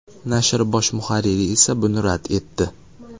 Nashr bosh muharriri esa buni rad etdi.